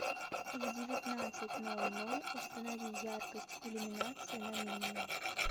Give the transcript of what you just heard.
в девятнадцать ноль ноль установи яркость иллюминации на минимум